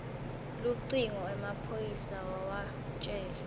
lucingo emaphoyisa wawatjela